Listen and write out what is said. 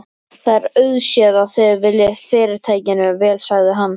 Það er auðséð, að þið viljið Fyrirtækinu vel sagði hann.